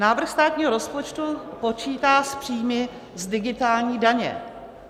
Návrh státního rozpočtu počítá s příjmy z digitální daně.